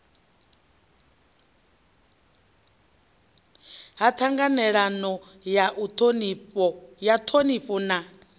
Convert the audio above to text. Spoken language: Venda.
ha ṱhanganelano ya ṱhonifho na